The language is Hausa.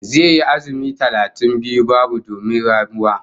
Zai yi azumi talatin biyu babu domin ramuwa